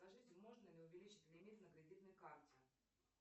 скажите можно ли увеличить лимит на кредитной карте